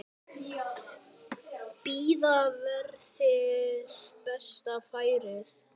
Bíða verði betra færis.